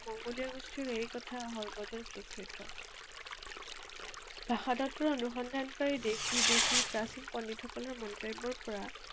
মংগোলীয় গোষ্ঠীৰ এই কথা সৰ্বত স্বীকৃত। ভাষা তত্বৰ অনুসন্ধানকাৰী দেশ বিদেশী প্ৰাচীন পণ্ডিতসকলৰ মন্তব্যৰ পৰা